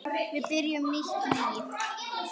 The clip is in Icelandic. Við byrjum nýtt líf.